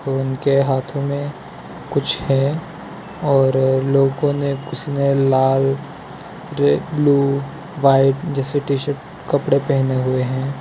उनके हाथों में कुछ है और लोगों ने कुछ ने लाल रे ब्लू व्हाइट जैसे टी_शर्ट कपड़े पहने हुए है।